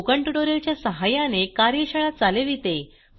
spoken tutorial च्या सहाय्याने कार्यशाळा चालविते